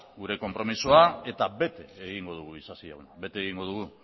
gure konpromezua eta bete egingo dugu isasi jauna bete egingo dugu